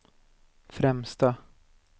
främsta